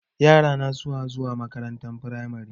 Yara suna zuwa makarantar firamari.